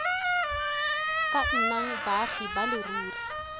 ka nnang baagi ba leruri